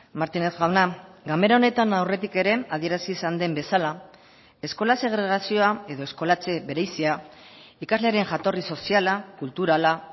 martínez jauna ganbera honetan aurretik ere adierazi izan den bezala eskola segregazioa edo eskolatze berezia ikaslearen jatorri soziala kulturala